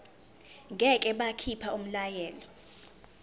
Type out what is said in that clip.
ngeke bakhipha umyalelo